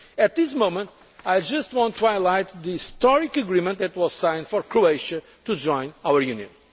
Council. At this moment, I just want to highlight the historic agreement that was signed for Croatia to join